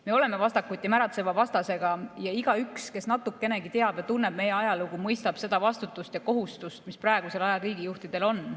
Me oleme vastakuti märatseva vastasega ja igaüks, kes natukenegi teab ja tunneb meie ajalugu, mõistab seda vastutust ja kohustust, mis praegusel ajal riigijuhtidel on.